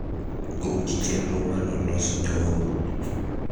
ruch chenro mano los nyoro